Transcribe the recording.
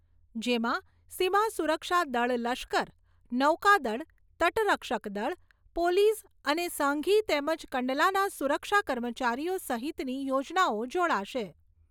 જેમાં સીમાસુરક્ષા દળ લશ્કર, નૌકાદળ, તટરક્ષક દળ, પોલીસ અને સાંઘી તેમજ કંડલાના સુરક્ષા કર્મચારીઓ સહિતની યોજનાઓ જોડાશે.